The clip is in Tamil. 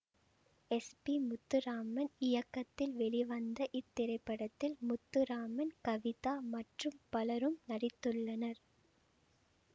எஸ் பி முத்துராமன் இயக்கத்தில் வெளிவந்த இத்திரைப்படத்தில் முத்துராமன் கவிதா மற்றும் பலரும் நடித்துள்ளனர்